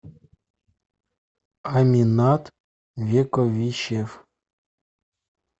аминат вековищев